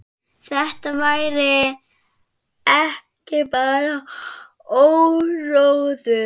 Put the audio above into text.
Þetta væri ekki bara áróður.